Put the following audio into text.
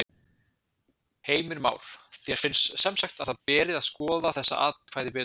Heimir Már: Þér finnst semsagt að það beri að skoða þessi atkvæði betur?